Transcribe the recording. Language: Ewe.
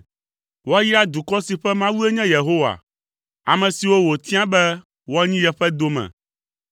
Woayra dukɔ si ƒe Mawue nye Yehowa, ame siwo wòtia be woanyi yeƒe dome.